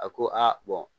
A ko a